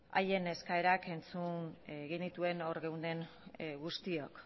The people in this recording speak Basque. haien eskariak entzun genituen hor geunden guztiok